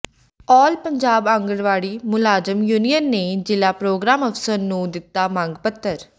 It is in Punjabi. ਆਲ ਪੰਜਾਬ ਆਂਗਣਵਾੜੀ ਮੁਲਾਜ਼ਮ ਯੂਨੀਅਨ ਨੇ ਜ਼ਿਲ੍ਹਾ ਪ੍ਰੋਗਰਾਮ ਅਫ਼ਸਰ ਨੂੰ ਦਿੱਤਾ ਮੰਗ ਪੱਤਰ